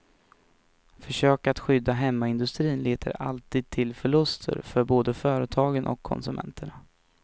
Försök att skydda hemmaindustri leder alltid till förluster för både företagen och konsumenterna.